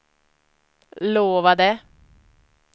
lovade